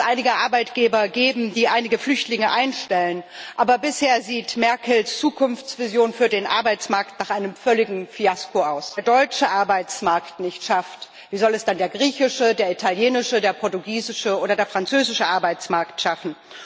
Sicherlich wird es einige Arbeitgeber geben, die einige Flüchtlinge einstellen, aber bisher sieht Merkels Zukunftsvision für den Arbeitsmarkt nach einem völligen Fiasko aus. Wenn es aber der deutsche Arbeitsmarkt nicht schafft, wie soll es dann der griechische, der italienische, der portugiesische oder der französische Arbeitsmarkt schaffen?